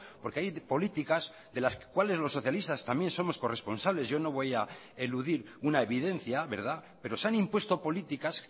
porque hay políticas de las cuales los socialistas también somos corresponsables yo no voy a eludir una evidencia pero se han impuesto políticas